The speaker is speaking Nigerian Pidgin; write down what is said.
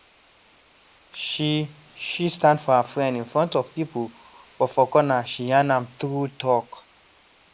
she she stand for her friend in front of people but for corner she yarn am true talk